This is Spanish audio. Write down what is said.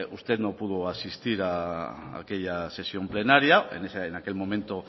usted no pudo asistir a aquella sesión plenaria en aquel momento